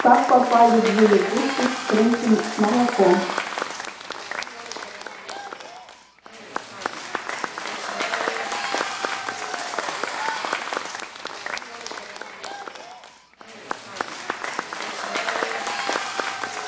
как попали две лягушки в крынки с молоком